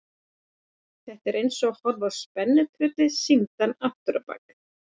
Þetta er eins og að horfa á spennutrylli sýndan afturábak.